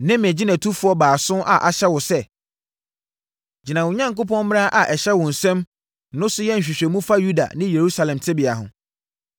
Me ne mʼagyinatufoɔ baason no ahyɛ wo sɛ, gyina wo Onyankopɔn mmara a ɛhyɛ wo nsam no so yɛ nhwehwɛmu fa Yuda ne Yerusalem tebea ho.